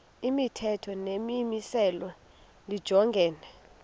imithetho nemimiselo lijongene